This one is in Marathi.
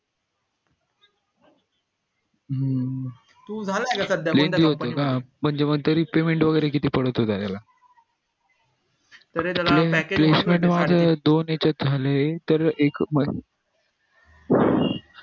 झालं आता सध्या म्हणजे म तरी payment वगैरे किती पडत त्याला सध्या त्याला package दोन यांच्यात झालं तर एक